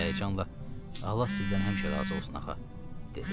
Həyəcanla, Allah sizdən həmişə razı olsun, axa, dedi.